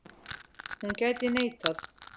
Hún gæti neitað.